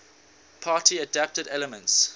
party adapted elements